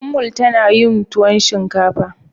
Ummul tana yin tuwon shinkafa.